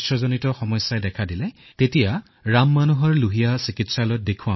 তেওঁ যেতিয়া আক্ৰান্ত হল তেতিয়া তেওঁ ৰাম মনোহৰ লোহিয়া চিকিৎসালয়লৈ গল